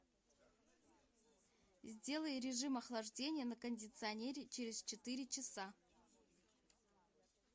сделай режим охлаждения на кондиционере через четыре часа